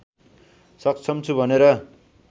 सक्षम छु भनेर